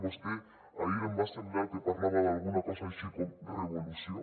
vostè ahir em va semblar que parlava d’alguna cosa així com revolució